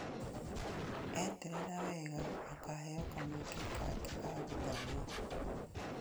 Eetetera wega akaheo kamweke kangĩ ga gũthoma